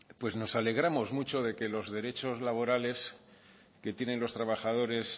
nos alegramos mucho de que los derechos laborales que tienen los trabajadores